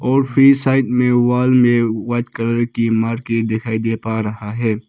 और free side में wall में वाइट कलर की मारके दिखाई दे पा रहा है।